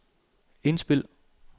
indspil